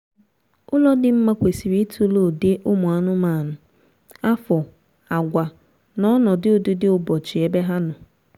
ụlọ dị mma kwesịrị itule ụdị ụmụ anụmanụ afo àgwà na ọnọdụ ụdịdịụbọchị ebe ha nọ